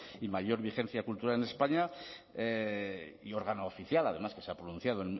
y mayor vigencia cultural en españa y órgano oficial además que se ha pronunciado